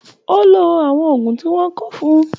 O ló àwọn òògùn tí wọn kọ fún-ùn.